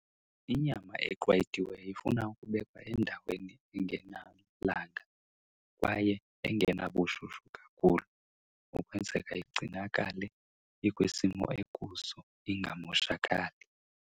Inyama eqwayitiweyo ifuna ukubekwa endaweni engenalanga kwaye engenabushushu kakhulu ukwenzeka igcinakale ikwisimo ekuso ingamoshakali.